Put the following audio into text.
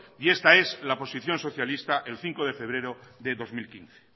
y esta es la posición socialista el cinco de febrero del dos mil quince